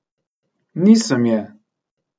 Nisem je!